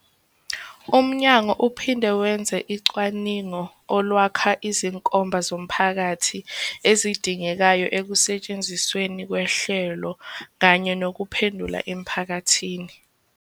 UMnyango uphinde wenze ucwaningo olwakha izinkomba zomphakathi ezidingekayo ekusetshenzisweni kohlelo kanye nokuphendula emphakathini.